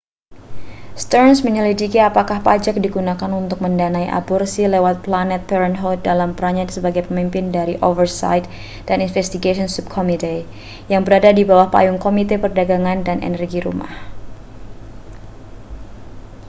stearns menyelidiki apakah pajak digunakan untuk mendanai aborsi lewat planned parenthood dalam perannya sebagai pimpinan dari oversight and investigations subcommittee yang berada di bawah payung komite perdagangan dan energi rumah